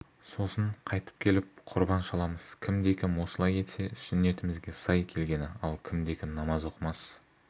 сосын қайтып келіп құрбан шаламыз кімде-кім осылай етсе сүннетімізге сай келгені ал кімде-кім намаз оқымас